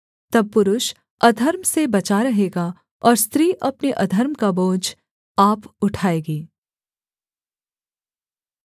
तब पुरुष अधर्म से बचा रहेगा और स्त्री अपने अधर्म का बोझ आप उठाएगी